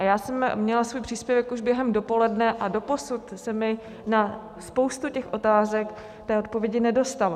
A já jsem měla svůj příspěvek už během dopoledne a doposud se mi na spoustu těch otázek té odpovědi nedostalo.